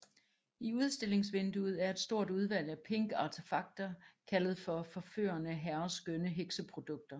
I udstillingsvinduet er et stort udvalg af pink artefakter kaldet for Forførende Herreskønne Hekseprodukter